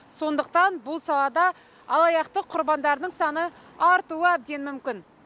сондықтан бұл салада алаяқтық құрбандарының саны артуы әбден мүмкін